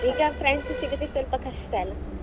ಈಗ friends ಸಿಗುದು ಸ್ವಲ್ಪ ಕಷ್ಟ ಅಲ್ಲ?